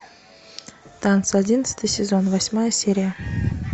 танцы одиннадцатый сезон восьмая серия